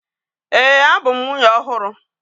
Ee, abu m nwunye ọhụrụ